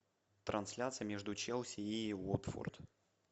трансляция между челси и уотфорд